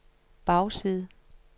bagside